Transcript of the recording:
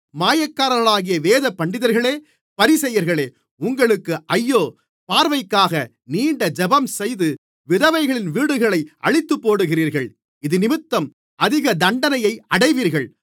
மாயக்காரர்களாகிய வேதபண்டிதர்களே பரிசேயர்களே உங்களுக்கு ஐயோ பார்வைக்காக நீண்ட ஜெபம்செய்து விதவைகளின் வீடுகளை அழித்துப்போடுகிறீர்கள் இதினிமித்தம் அதிக தண்டனையை அடைவீர்கள்